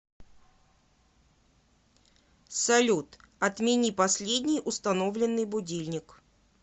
салют отмени последний установленный будильник